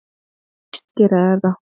Víst gera þeir það!